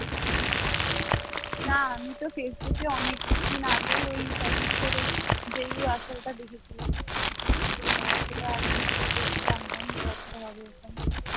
না আমি তো ফেসবুকে অনেক দিন আগেই ওই ফসিলসের ওই দেখেছিলাম তো সেটা কিছুটা জানতাম যে আজকে হবে ওখানে